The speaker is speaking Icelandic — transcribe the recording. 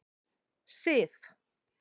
Sif